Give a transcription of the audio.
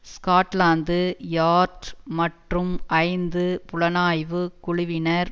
Scotland Yard மற்றும் ஐந்து புலனாய்வு குழுவினர்